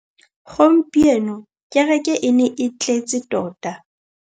Gompieno kêrêkê e ne e tletse tota.